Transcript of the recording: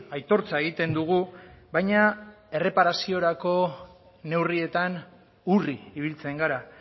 aitortza egiten dugu baina erreparaziorako neurrietan urri ibiltzen gara